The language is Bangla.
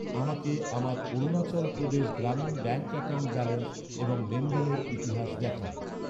আমাকে আমার Arunachal Pradesh Gramin bank account balance এবং লেনদেনের ইতিহাস দেখান।